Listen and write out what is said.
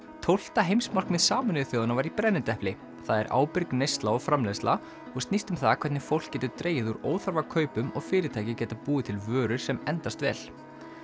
tólfta heimsmarkmið Sameinuðu þjóðanna var í brennidepli það er ábyrg neysla og framleiðsla og snýst um það hvernig fólk getur dregið úr óþarfa kaupum og fyrirtæki geta búið til vörur sem endast vel